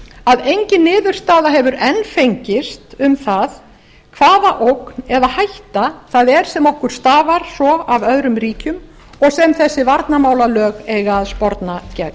að engin niðurstaða hefur enn fengist um það hvaða ógn eða hætta það er sem okkur stafar svo af öðrum ríkjum sem þessi varnarmálalög eiga að sporna gegn